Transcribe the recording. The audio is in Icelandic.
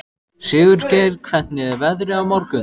Sigurgeir, hvernig er veðrið á morgun?